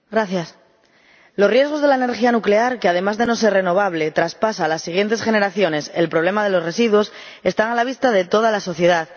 Señora Presidenta, los riesgos de la energía nuclear, que, además de no ser renovable, traspasa a las siguientes generaciones el problema de los residuos, están a la vista de toda la sociedad.